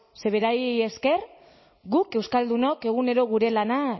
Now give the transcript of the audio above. ze berari esker guk euskaldunok egunero gure lana